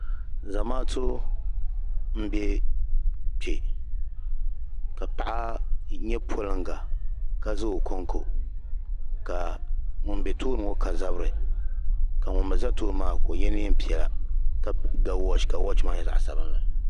Zamaatu n bɛ kpɛ ka paɣa yɛ poliŋga ka za o konko ka ŋuni bɛ tooni ŋɔ ka zabiri ka ŋuni mi za tooni maa ka o yiɛ nɛn piɛlla ka ga wɔɔchi ka wɔɔchi maa yɛ zaɣi sabinli.